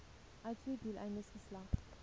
uitvoer doeleindes geslag